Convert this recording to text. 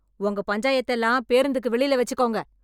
உங்க பஞ்சாயத்தெல்லாம் பேருந்துக்கு வெளில வச்சுக்கோங்க.